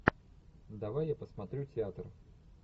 давай я посмотрю театр